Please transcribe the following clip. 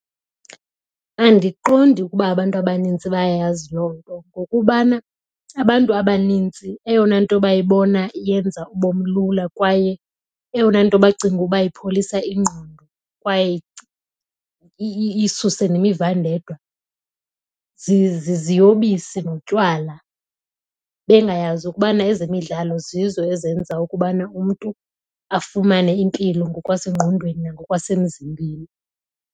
Andiqondi ukuba abantu abanintsi bayayazi loo nto ngokubana abantu abanintsi eyona nto bayibona iyenza ubomi lula kwaye eyona nto bacinga ukuba ipholisa ingqondo kwaye isuse nemivandedwa ziziyobisi notywala. Bengayazi ukubana ezemidlalo zizo ezenza ukubana umntu afumane impilo ngokwasengqondweni nangokwasemzimbeni.